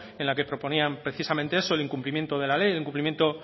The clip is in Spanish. en la que proponían precisamente eso el incumplimiento de la ley el incumplimiento